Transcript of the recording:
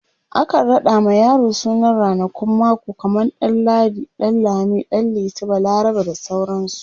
akan raɗa ma yaro sunan ranakun mako kaman ɗan ladi, ɗan lami, ɗan liti, balarabe, bda sauransu